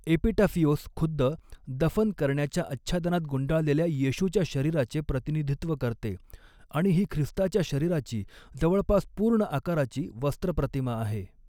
Epitaphios खुद्द, दफन करण्याच्या आच्छादनात गुंडाळलेल्या येशूच्या शरीराचे प्रतिनिधित्व करते आणि ही ख्रिस्ताच्या शरीराची जवळपास पूर्ण आकाराची वस्त्र प्रतिमा आहे.